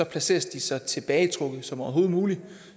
placeres de så tilbagetrukket som overhovedet muligt